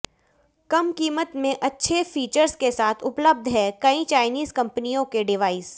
कम कीमत में अच्छे फीचर्स के साथ उपलब्ध हैं कई चाईनीज कंपनियों के डिवाइस